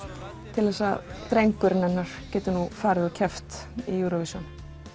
til þess að drengurinn hennar geti keppt í Eurovision